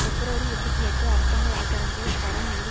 பிப்ரவரி இருபத்தி எட்டு அரசாங்க வழக்குரைஞர் ஷரோன் மீது